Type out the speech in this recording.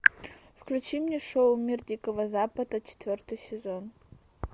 включи мне шоу мир дикого запада четвертый сезон